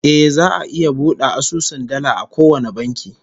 Eh, za'a iya bude asusun dala a kowane banki